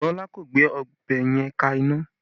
Bọlá kò gbé ọbẹ̀ yẹn ka iná